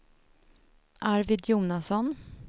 Arvid Jonasson